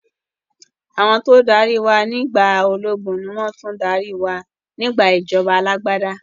Àwọn tó dárí wá nígbà ológun ni wọn tún dárí wá nígbà ìjọba alàgbàda